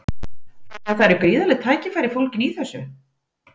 Þannig að það eru gríðarleg tækifæri fólgin í þessu?